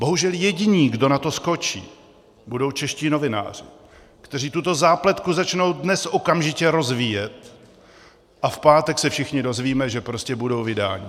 Bohužel jediný, kdo na to skočí, budou čeští novináři, kteří tuto zápletku začnou dnes okamžitě rozvíjet, a v pátek se všichni dozvíme, že prostě budou vydáni.